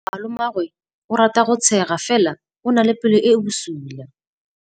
Malomagwe o rata go tshega fela o na le pelo e e bosula.